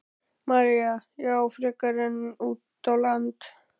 María: Já, frekar en út á land?